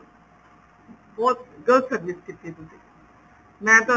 ਬਹੁਤ ਗਲਤ service ਕੀਤੀ ਤੁਸੀਂ ਮੈਂ ਤੁਹਾਨੂੰ